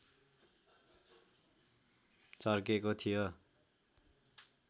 चर्केको थियो